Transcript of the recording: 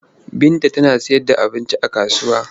Binta tana sayarda abinci a kasuwa.